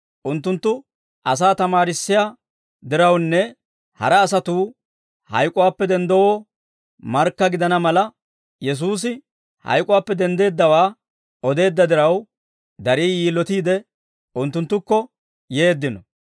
unttunttu asaa tamaarissiyaa dirawunne hara asatuu hayk'uwaappe denddanawoo markka gidana mala, Yesuusi hayk'uwaappe denddeeddawaa odeedda diraw, darii yilotiide, unttunttukko yeeddino.